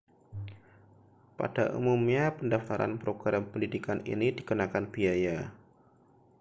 pada umumnya pendaftaran program pendidikan ini dikenakan biaya